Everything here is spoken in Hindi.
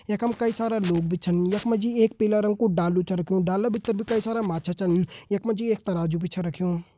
यख मा कई सारा लोग भी छिन यख मा जी एक पिल्लर कू डालू छ रख्युं डालू भीतर कई सारा माछा छन यख मा जी एक तराजू भी छ रख्युं।